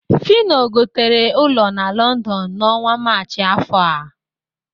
Fịno gotere ụlọ na Lọndọn n'ọnwa Maachị afọ a